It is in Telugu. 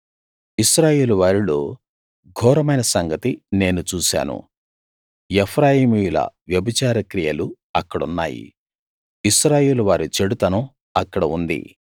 ఇశ్రాయేలు వారిలో ఘోరమైన సంగతి నేను చూశాను ఎఫ్రాయిమీయుల వ్యభిచార క్రియలు అక్కడున్నాయి ఇశ్రాయేలు వారి చెడుతనం అక్కడ ఉంది